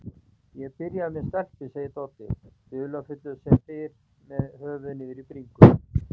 Ég er byrjaður með stelpu, segir Doddi, dularfullur sem fyrr með höfuðið niðri í bringu.